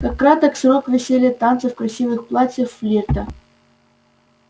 как краток срок веселья танцев красивых платьев флирта